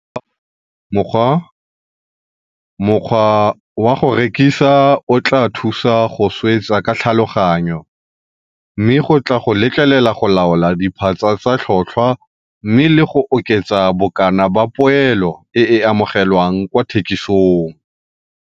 Mokgwa wa go rekisa o tlaa thusa go swetsa ka tlhaloganyo, mme go tlaa go letlelela go laola diphatsa tsa tlhotlhwa mme le go oketsa bokana ba poelo e e amogelwang kwa thekisong.